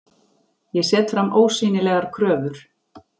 Ég set fram ósýnilegar kröfur.